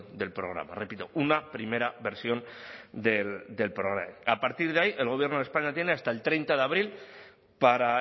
del programa repito una primera versión del programa a partir de ahí el gobierno de españa tiene hasta el treinta de abril para